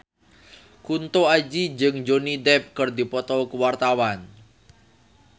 Kunto Aji jeung Johnny Depp keur dipoto ku wartawan